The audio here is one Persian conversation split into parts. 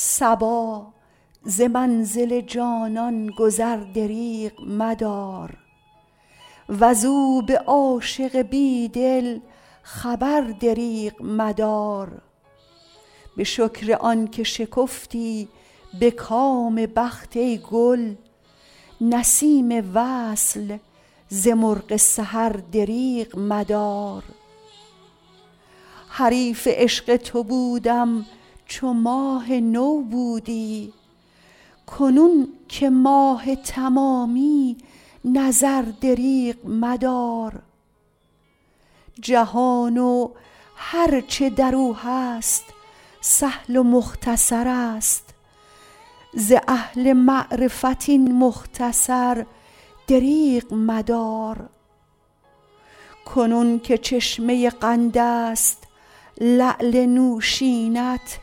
صبا ز منزل جانان گذر دریغ مدار وز او به عاشق بی دل خبر دریغ مدار به شکر آن که شکفتی به کام بخت ای گل نسیم وصل ز مرغ سحر دریغ مدار حریف عشق تو بودم چو ماه نو بودی کنون که ماه تمامی نظر دریغ مدار جهان و هر چه در او هست سهل و مختصر است ز اهل معرفت این مختصر دریغ مدار کنون که چشمه قند است لعل نوشین ات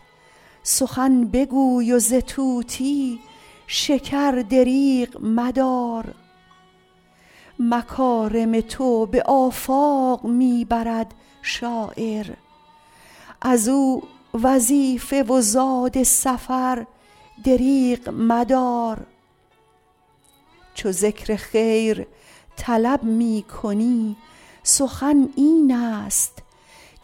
سخن بگوی و ز طوطی شکر دریغ مدار مکارم تو به آفاق می برد شاعر از او وظیفه و زاد سفر دریغ مدار چو ذکر خیر طلب می کنی سخن این است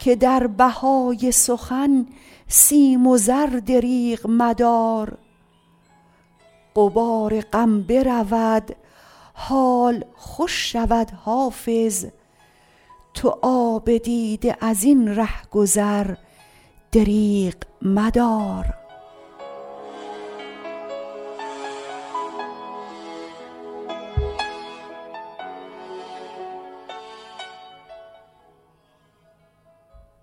که در بهای سخن سیم و زر دریغ مدار غبار غم برود حال خوش شود حافظ تو آب دیده از این ره گذر دریغ مدار